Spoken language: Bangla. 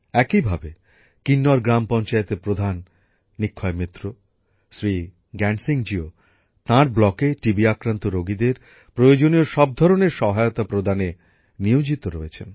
একইভাবে কিন্নর গ্রাম পঞ্চায়েতের প্রধান নিক্ষয় মিত্র শ্রী জ্ঞান সিংজিও তাঁর ব্লকে টিবি আক্রান্ত রোগীদের প্রয়োজনীয় সব ধরনের সহায়তা প্রদানে নিয়োজিত রয়েছেন